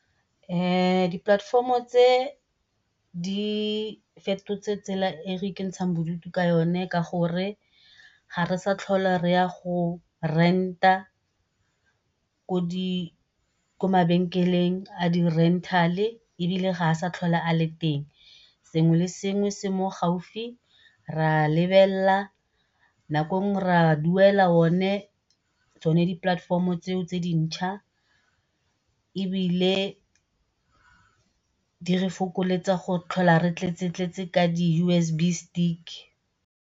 di-platform-o tse di fetotse tsela e re ikentshang bodutu ka yone ka gore ga re sa tlhole re ya go rent-a ko mabenkeleng a di-rental-e ebile ga a sa tlhole a le teng, sengwe le sengwe se mo gaufi re a lebelela. Nako e nngwe re a duela o ne tsone di-platform-o tseo tse di ntšhwa ebile di re fokoletsa go tlhola re tletse tletse ka di U_S_B stick.